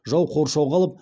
жау қоршауға алып